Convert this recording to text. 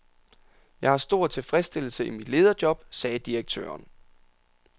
Jeg har stor tilfredsstillelse i mit lederjob, sagde direktøren.